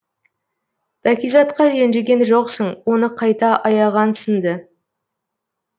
бәкизатқа ренжіген жоқсың оны қайта аяғансың ды